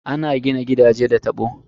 Ana gina gidaje da tabo.